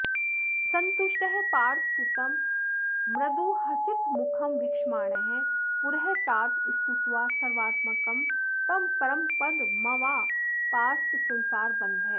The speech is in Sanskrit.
सन्तुष्टः पार्थसूतं मृदुहसितमुखं वीक्षमाणः पुरस्तात् स्तुत्वा सर्वात्मकं तं परमपदमवापास्तसंसारबन्धः